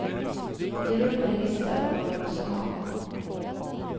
Gör upp en lista på vad du måste ha.